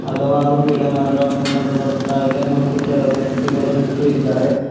ಹಲವಾರು ಗಿಡ ಮರಗಳನ್ನು ಕಂಡುಬರುತ್ತಯಿದೆ ಮತ್ತು ಕೆಲ ವ್ಯಕ್ತಿಗಳು ನಿಂತು ಇದ್ದಾರೆ.